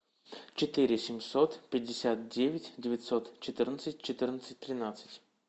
четыре семьсот пятьдесят девять девятьсот четырнадцать четырнадцать тринадцать